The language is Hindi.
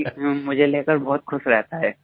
बाकी मुझे लेकर बहुत खुश रहता है